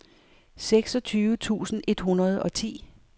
seksogtyve tusind et hundrede og ti